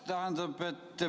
Aitäh!